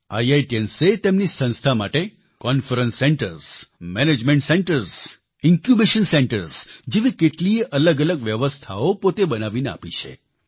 IITians એ તેમની સંસ્થા માટે conference centres management centres incubation centres જેવી કેટલીયે અલગઅલગ વ્યવસ્થાઓ પોતે બનાવીને આપી છે